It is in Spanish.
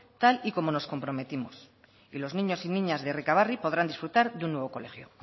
tal y como nos comprometimos y los niños y niñas de errekabarri podrán disfrutar de un nuevo colegio